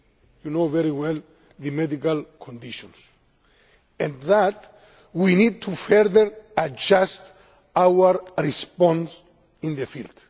You know very well the medical conditions and that we need to further adjust our response in the field.